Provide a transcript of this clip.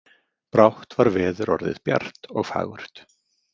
Brátt var veður orðið bjart og fagurt.